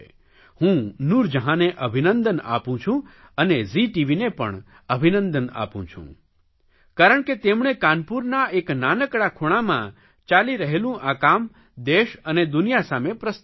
હું નૂરજહાંને અભિનંદન આપું છું અને ઝી ટીવીને પણ અભિનંદન આપું છું કારણ કે તેમણે કાનપુરના એક નાનકડા ખૂણામાં ચાલી રહેલું આ કામ દેશ અને દુનિયા સામે પ્રસ્તુત કર્યું